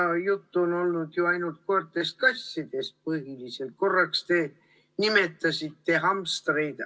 Seni on juttu olnud ju põhiliselt koertest-kassidest, korraks te nimetasite hamstreid.